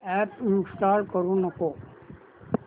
app install करू नको